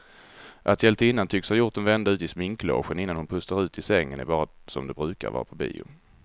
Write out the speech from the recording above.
Att hjältinnan tycks ha gjort en vända ut i sminklogen innan hon pustar ut i sängen är bara som det brukar vara på bio.